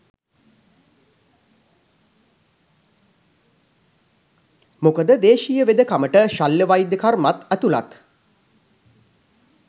මොකද දේශීය වෙදකමට ශල්‍ය වෛද්‍ය කර්මත් ඇතුළත්.